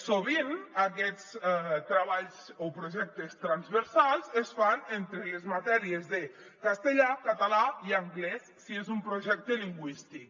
sovint aquests treballs o projectes transversals es fan entre les matèries de castellà català i anglès si és un projecte lingüístic